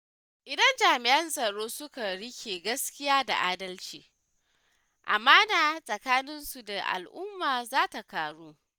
Idan jami’an tsaro suka riƙe gaskiya da adalci, amana tsakanin su da al’umma za ta ƙaru.